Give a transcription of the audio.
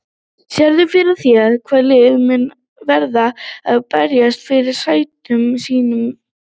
Sérðu fyrir þér hvaða lið munu verða að berjast fyrir sætum sínum í deildinni?